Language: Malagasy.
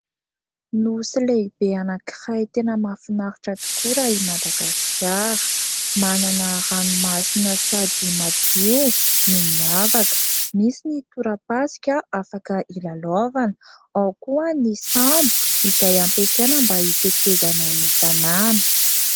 Nosy lehibe anankiray tena mahafinaritra tokoa raha i Madagasikara. Manana ranomasina sady madio no miavaka. Misy ny torapasika afaka ilalaovana, ao koa ny sambo izay ampiasaina mba itetezana ny tanàna.